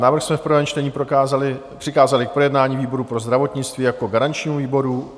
Návrh jsme v prvém čtení přikázali k projednání výboru pro zdravotnictví jako garančnímu výboru.